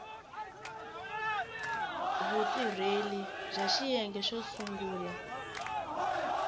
vutirheli bya xiyenge xo sungula